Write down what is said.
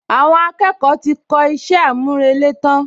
Àwọn akẹ́kọ̀ọ́ ti kọ iṣẹ́ àmúrelé tán